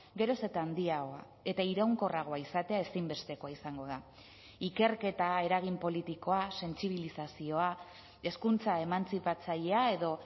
geroz eta handiagoa eta iraunkorragoa izatea ezinbestekoa izango da ikerketa eragin politikoa sentsibilizazioa hezkuntza emantzipatzailea edo